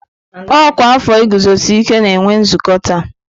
Ọkwa afọ iguzosi ike na-enwe nzukọ taa.